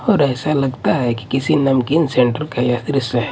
और ऐसा लगता है कि किसी नमकीन सेंटर का यह दृश्य है।